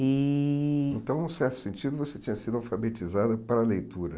E então, num certo sentido, você tinha sido alfabetizada para a leitura.